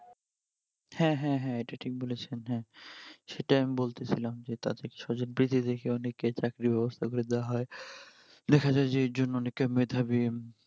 হ্যাঁ হ্যাঁ হ্যাঁ এটা ঠিক বলেছেন হ্যাঁ সেটা আমি বলতেছিলাম যে তাদের স্বজনপ্রীতি দেখে অনেকে চাকরির বাবস্থা করে দেওয়া হই। দেখা যাই যে এর জন্য অনেকে মেধাবি